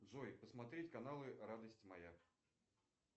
джой посмотреть каналы радость моя